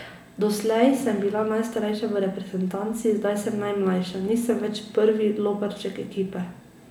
Doslej sem bila najstarejša v reprezentanci, zdaj sem najmlajša, nisem več prvi loparček ekipe.